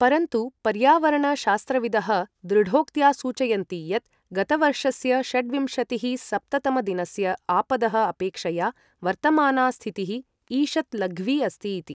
परन्तु, पर्यावरण शास्त्रविदः, दृढोक्त्या सूचयन्ति यत् गतवर्षस्य षड्विंशतिःसप्त तमदिनस्य आपदः अपेक्षया वर्तमाना स्थितिः ईषत् लघ्वी अस्ति इति।